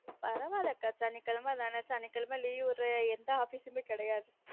பரவாய்ல்ல கா சனிகிழமை தான சனிகிழமை leave விடற எந்த office மே கெடையாது